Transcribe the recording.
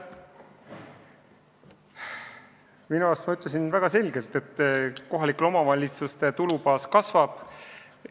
Oma arust ma ütlesin väga selgelt, et kohalike omavalitsuste tulubaas kasvab.